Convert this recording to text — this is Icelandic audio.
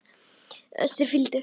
Össur fýldur.